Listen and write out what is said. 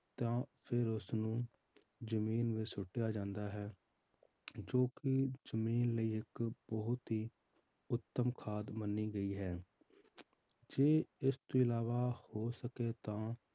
ਤਾਂ ਫਿਰ ਉਸਨੂੰ ਜ਼ਮੀਨ ਵਿੱਚ ਛੁੱਟਿਆ ਜਾਂਦਾ ਹੈ ਜੋ ਕਿ ਜ਼ਮੀਨ ਲਈ ਇੱਕ ਬਹੁਤ ਹੀ ਉੱਤਮ ਖਾਦ ਮੰਨੀ ਗਈ ਹੈ ਜੇ ਇਸ ਤੋਂ ਇਲਾਵਾ ਹੋ ਸਕੇ ਤਾਂ